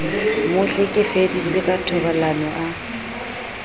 mo hlekefeditse ka thobalano a